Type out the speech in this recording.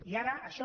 i ara això